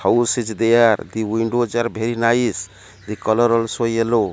house is there the windows are bery nice the colour also yellow.